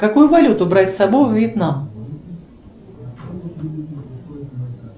какую валюту брать с собой во вьетнам